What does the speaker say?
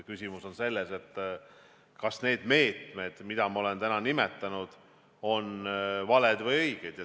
Küsimus on selles, kas need meetmed, mida ma olen täna nimetanud, on valed või õiged.